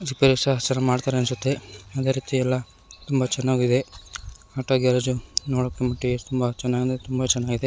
Repair ಸರಿ ಮಾಡ್ತಾರ್ ಅನ್ಸುತ್ತೆ. ಅದೇ ರೀತಿ ಎಲ್ಲ ತುಂಬಾ ಚೆನ್ನಾಗಿದೆ. ಆಟೋ ಗ್ಯಾರೇಜು ನೋಡಕೆ ಟೆ ತುಂಬಾ ಚೆನ್ನಾಗಿ ತುಂಬಾ ಚೆನ್ನಾಗಿದೆ.